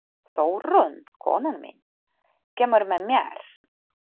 Þórunn, konan mín, kemur með mér.